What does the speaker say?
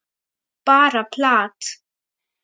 Bara plat.